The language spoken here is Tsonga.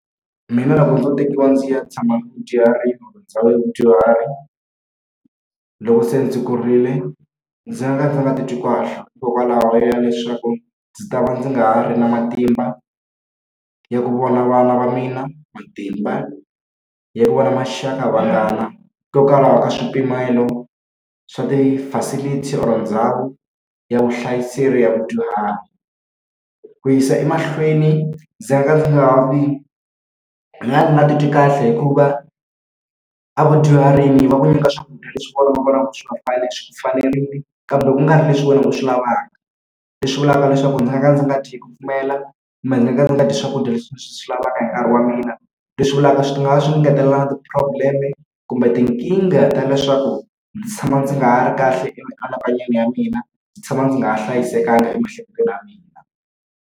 Mina loko ndzo tekiwa ndzi ya tshama bya vadyuhari loko se ndzi kurile, ndzi nga ka ndzi nga titwi kahle hikokwalaho ya leswaku ndzi ta va ndzi nga ha ri na matimba ya ku vona vana va mina, matimba ya ku va na maxak, a vanghana hikokwalaho ka swipimelo swa ti-facilities or ndhawu ya vuhlayiselo ya vadyuhari. Ku yisa emahlweni ndzi ka nga ndzi nga ndzi ka nga ni nga titwi kahle hikuva evudyuharini va ku nyika swakudya leswi va vonaka swi swi ku fanerile, kambe ku nga ri leswi wena u swi lavaka. Leswi vulaka leswaku ndzi nga ka ndzi nga tdyi hi ku pfumela kumbe ndzi nga ka ndzi nga dyi swakudya leswi swi lavaka hi nkarhi wa mina. Leswi vulaka swi nga ya swi ni ngetelela na ti-problem-e kumbe tinkingha ta leswaku ndzi tshama ndzi nga ha ri kahle emianakanyweni ya mina, ndzi tshama ndzi nga ha hlayisekanga emiehleketweni ya mina.